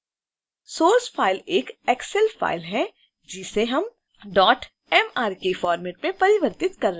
source file एक excel file है जिसे हम mrk format में परिवर्तित कर रहे हैं